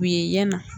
U ye yan na